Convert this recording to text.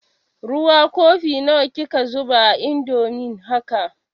Ruwa kofi nawa kika zuba a indomin haka?